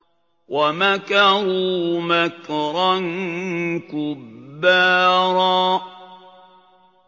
وَمَكَرُوا مَكْرًا كُبَّارًا